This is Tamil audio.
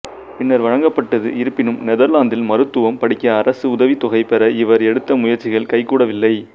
பின்னர் வழங்கப்பட்டது இருப்பினும் நெதர்லாந்தில் மருத்துவம் படிக்க அரசு உதவித்தொகை பெற இவர் எடுத்த முயற்சிகள் கைகூடவில்லை